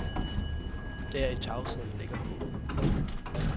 Der i tavsheden ligger håbet.